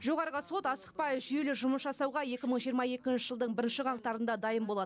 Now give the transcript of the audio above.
жоғарғы сот асықпай жүйелі жұмыс жасауға екі мың жиырма екінші жылдың бірінші қаңтарында дайын болады